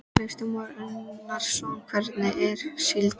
Kristján Már Unnarsson: Hvernig er síldin?